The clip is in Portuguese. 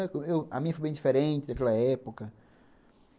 A minha foi bem diferente daquela época.